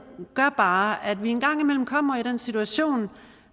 gør bare at vi en gang imellem kommer i den situation